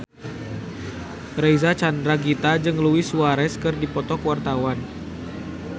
Reysa Chandragitta jeung Luis Suarez keur dipoto ku wartawan